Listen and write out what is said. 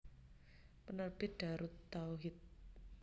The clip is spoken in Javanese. Penerbit Daarut Tauhid